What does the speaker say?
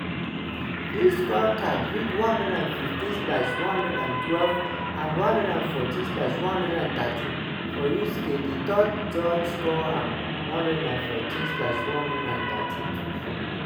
di scorecards read 115/112 and 114/113 for usyk a third judge score am 114/113 to fury.